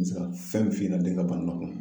N bɛ se ka fɛn min f'i ɲɛna den ka bana